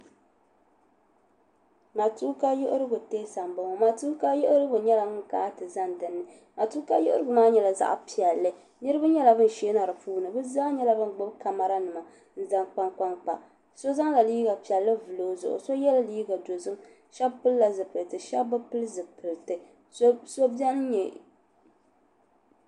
Matuuka yihirigu tɛɛsa m bo ŋɔ matuuka yiɣirigu nyela ŋun kana ti zani din ni matuuka yihirigu maa nyela zaɣpiɛlli niribi nyela bin shee na di puuni bɛ zaa nyela ban gbubi kamaranima n zan kpankpani so zaŋla liiga piɛlli n vuli o zuɣu so yela liiga dozim ka shɛb pili zipiliti ka shɛb bi pili zipiliti so bɛni nye.